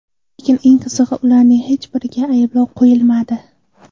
Lekin eng qizig‘i, ularning hech biriga ayblov qo‘yilmadi.